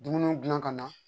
Dumuni dilan ka na